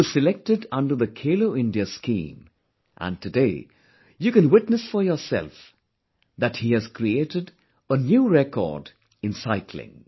He was selected under the 'Khelo India' scheme and today you can witness for yourself that he has created a new record in cycling